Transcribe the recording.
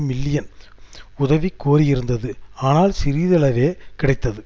million உதவிகோரியிருந்தது ஆனால் சிறியளவே கிடைத்து